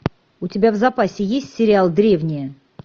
у тебя в запасе есть сериал древние